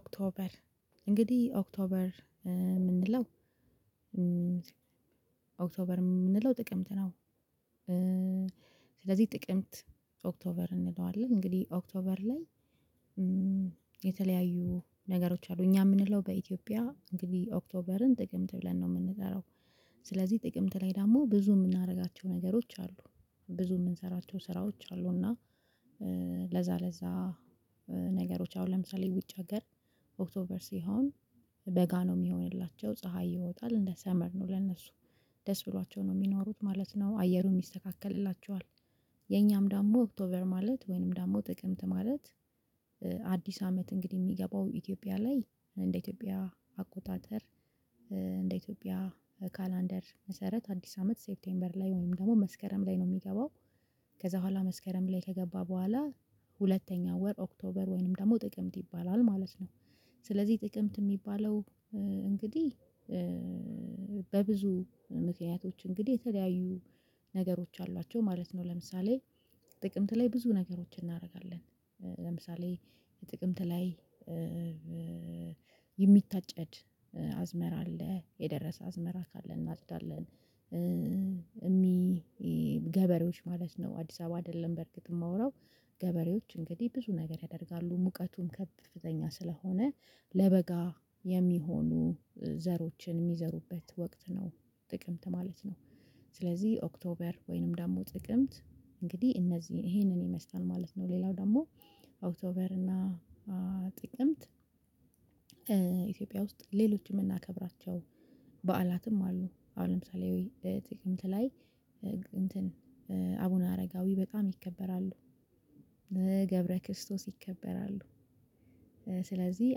ኦክቶበር እንግዲህ ኦክቶበር እምንለው ኦክቶበር እምንለው ጥቅምት ነው። ስለዚህ ጥቅምት ኦክቶበር እንለዋለን እንግዲህ ኦክቶበር ላይ የተለያዩ ነገሮች አሉ እኛ እምንለው በኢትዮጵያ እንግዲህ ኦክቶበርን ጥቅምት ብለን ነው እምንጠራው። ስለዚህ ጥቅምት ላይ ደግሞ ብዙ እምናደርጋቸው ነገሮች አሉ ብዙ እምንሰራቸው ስራዎች አሉ እና ለዛ ለዛ ነገሮች አሁን ለምሳሌ ውጭ ሀገር ኦክቶበር ሲሆን በጋ ነው እሚሆንላቸው ፀሀይ ይወጣል እንደ ሰመር ነው ለእነሱ ደስ ብሏቸው ነው እሚኖሩት ማለት ነው አየሩን ይስተካከልላቸዋል። የኛም ደግሞ ኦክቶበር ማለት ወይንም ደግሞ ጥቅምት ማለት አዲስ አመት እንግዲህ እሚገባው ኢትዮጵያ ላይ እንደ ኢትዮጵያ አቆጣጠር እንደ ኢትዮጵያ ካላንደር መሰረት አዲስ አመት ሴብቴምበር ላይ ወይም ደግሞ መስከረም ላይ ነው እሚገባው። ከዛ በኋላ መስከረም ላይ ከገባ በኋላ ሁለተኛ ወር ኦክቶበር ወይንም ደግሞ ጥቅምት ይባላል ማለት ነው። ስለዚህ ጥቅምት እሚባለው እንግዲህ በብዙ ምክንያቶች እንግዲህ የተለያዩ ነገሮች አሏቸው ማለት ነው። ለምሳሌ ጥቅምት ላይ ብዙ ነገሮች እናረጋለን ለምሳሌ የጥቅምት ላይ የሚታጨድ አዝመራ አለ የደረሰ አዝመራ ካለ እናጭዳለን እሚ ገበሬዎች ማለት ነው አዲስ አበባ አይደለም በእርግጥ እማወራው ገበሬዎች እንግዲህ ብዙ ነገር ያደርጋሉ ሙቀቱን ከፍተኛ ስለሆነ ለበጋ የሚሆኑ ዘሮችን እሚዘሩበት ወቅት ነው ጥቅምት ማለት ነው። ስለዚህ ኦክቶበር ወይንም ደሞ ጥቅምት እንግዲህ እነዚህን ይህንን ይመስላል ማለት ነው። ሌላው ደሞ ኦክቶበር እና ጥቅምት ኢትዮጵያ ውስጥ ሌሎችን እምናከብራቸው በዓላትም አሉ አሁን ለምሳሌ ጥቅምት ላይ እንትን አቡነ አረጋዊ በጣም ይከበራሉ። ገብረ ክርስቶስ ይከበራሉ። ስለዚህ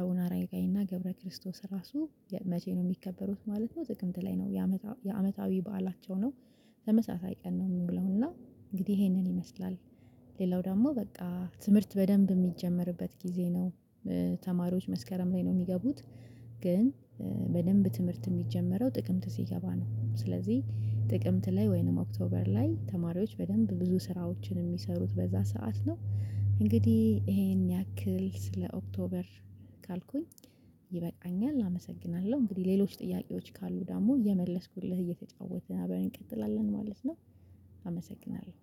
አሁን አረጋዊና ገብረ ክርስቶስ ራሱ መቼ ነው እሚከበሩት ማለት ነው? ጥቅምት ላይ ነው የአመታዊ በዓላቸው ነው ተመሳሳይ ቀን ነው እሚውለው እና እንግዲህ ይሄንን ይመስላል። ሌላው ደሞ በቃ ትምህርት በደንብ እሚጀመርበት ጊዜ ነው። ተማሪዎች መስከረም ላይ ነው እሚገቡት ግን በደንብ ትምህርት እሚጀመረው ጥቅምት ሲገባ ነው። ስለዚህ ጥቅምት ላይ ወይንም ኦክቶበር ላይ ተማሪዎች በደንብ ብዙ ስራዎችን እሚሰሩት በዛ ሰዓት ነው። እንግዲህ ይሄን ያክል ስለ ኦክቶበር ካልኩኝ ይበቃኛል አመሰግናለሁ እንግዲህ ሌሎች ጥያቄዎች ካሉ ደሞ እየመለስኩልህ እየተጫወትን አበር እንቀጥላለን ማለት ነው። አመሰግናለሁ